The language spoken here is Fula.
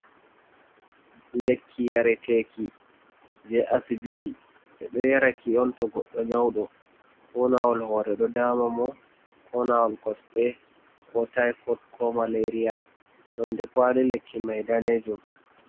Lekki yareteki je asibiti. Be ɗo yaraki on to goɗɗo nyauɗo, ko nawol hore ɗo ɗaama mo, ko nawol kosɗe, ko tifoɗ, ko malaria. nonɗe kawali lekki mai ɗanejum.